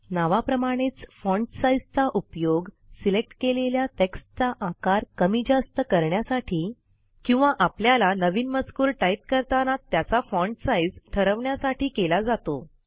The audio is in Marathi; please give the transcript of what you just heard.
नावाप्रमाणेच फाँट साईजचा उपयोग सिलेक्ट केलेल्या टेक्स्टचा आकार कमी जास्त करण्यासाठी किंवा आपल्याला नवीन मजकूर टाईप करताना त्याचा फाँट साईज ठरवण्यासाठी केला जातो